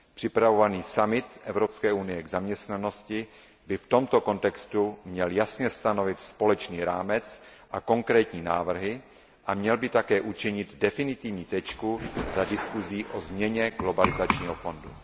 Připravovaný summit Evropské unie k zaměstnanosti by v tomto kontextu měl jasně stanovit společný rámec a konkrétní návrhy a měl by také učinit definitivní tečku za diskuzí o změně globalizačního fondu.